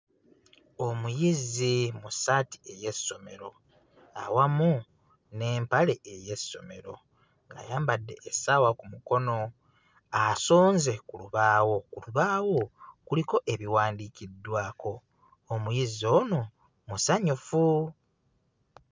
Omuyizi mu ssaati ey'essomero awamu n'empale ey'essomero ng'ayambadde essaawa ku mukono asonze ku lubaawo ku lubaawo kuliko ebiwandiikiddwako omuyizi ono musanyufu.